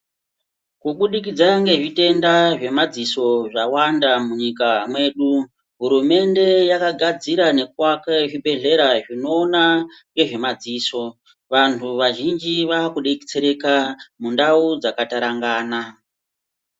Kubudikidza ngezvitenda zvemaziso zvawanda munyika medu, hurumende yakagadzira ngekuvake zvibhedhlera zvinoona nezvemaziso. Vanhu vazhinji vakubetsereka mundao dzakatarangana.